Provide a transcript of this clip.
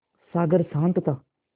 सागर शांत था